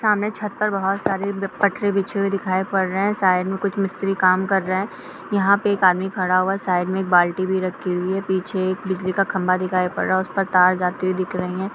सामने छत में बहुत सारे पटरे बिछे हुए दिखाई दे रहे हैं| साइड में कुछ मिस्त्री काम कर रहे हैं| यहाँ पे एक आदमी खड़ा है| साइड में एक बाल्टी रखी हुई है | पीछे एक बिजली का खंभा दिखाई पढ़ रहा है उसमे तार जाती हुई दिख रही है|